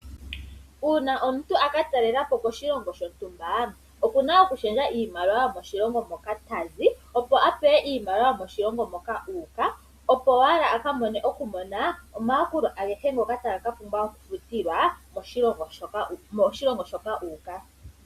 Uuna omuntu aka talelepo koshilongo shontumba okuna oku shendja iimaliwa yomoshilongo moka tazi opo a pewe iimaliwa yomoshilongo moka uuka opo owala aka mone omayakulo agehe ngoka taga ka pumbwa oku futilwa moshilongo shoka uuka.